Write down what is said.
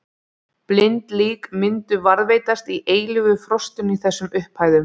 Blind lík myndu varðveitast í eilífu frostinu í þessum upphæðum.